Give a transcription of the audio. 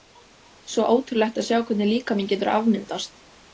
Svo ótrúlegt að sjá hvernig líkaminn getur afmyndast.